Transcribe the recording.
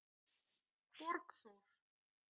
Borgþór